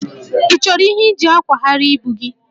Ị chọrọ ihe iji akwagharị ibu gị?